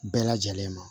Bɛɛ lajɛlen ma